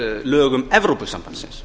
lögum evrópusambandsins